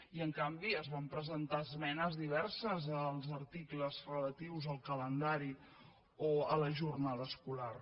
i en canvi es van presentar esmenes diverses als articles relatius al calendari o a la jornada escolar